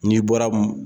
N'i bɔra